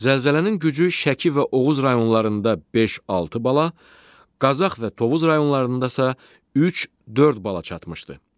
Zəlzələnin gücü Şəki və Oğuz rayonlarında 5-6 bala, Qazax və Tovuz rayonlarında isə 3-4 bala çatmışdı.